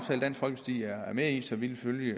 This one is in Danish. med i så vi vil